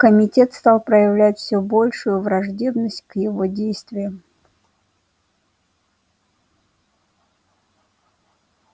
комитет стал проявлять все большую враждебность к его действиям